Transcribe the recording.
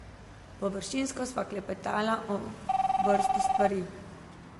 Površinsko sva klepetala o vrsti stvari.